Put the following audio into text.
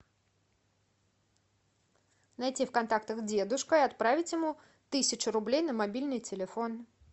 найти в контактах дедушка и отправить ему тысячу рублей на мобильный телефон